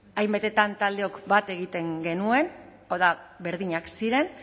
hainbatetan taldeok bat egiten genuen hau da berdinak ziren